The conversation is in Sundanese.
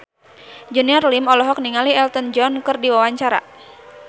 Junior Liem olohok ningali Elton John keur diwawancara